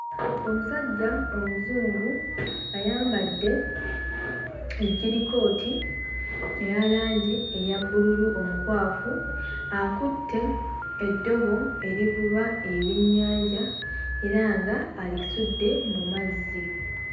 Omusajja omuzungu ayambadde ejjirikooti eya langi eya bbululu omukwafu, akutte eddobo erivuba ebyennyanja era nga alisudde mu mazzi.